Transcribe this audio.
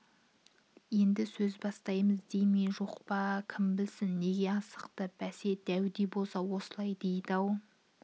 енді сөз бастаймыз дей ме жоқ па кім білсін неге асықты бәсе дәуде болса осылай дейді-ау